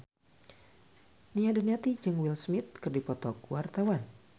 Nia Daniati jeung Will Smith keur dipoto ku wartawan